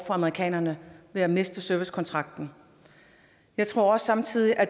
amerikanerne ved at miste servicekontrakten jeg tror også samtidig at